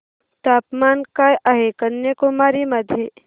तापमान काय आहे कन्याकुमारी मध्ये